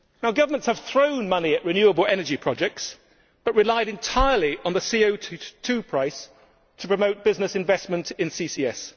Governments have thrown money at renewable energy projects but relied entirely on the CO 2 price to promote business investment in CCS.